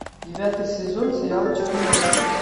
девятый сезон сериал черное зеркало